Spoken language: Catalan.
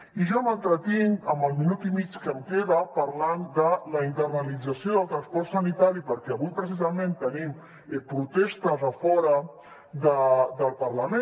i jo m’entretinc en el minut i mig que em queda parlant de la internalització del transport sanitari perquè avui precisament tenim protestes a fora del parlament